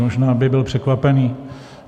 Možná by byl překvapený.